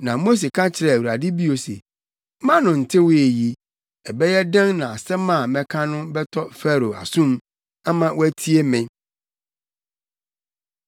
Na Mose ka kyerɛɛ Awurade bio se, “Mʼano ntewee yi, ɛbɛyɛ dɛn na asɛm a mɛka no bɛtɔ Farao asom ama watie me?”